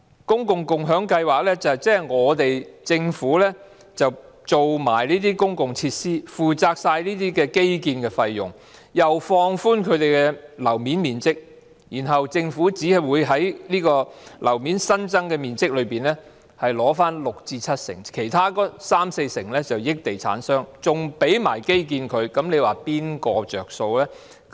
共享計劃即是由政府提供公共設施，負責全部的基建費用，又放寬樓面面積，然後政府只會取回新增樓面面積六至七成，其餘三四成則歸地產商所有，甚至為它們提供基建，你說誰會得益呢？